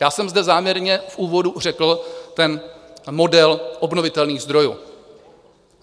Já jsem zde záměrně v úvodu řekl ten model obnovitelných zdrojů.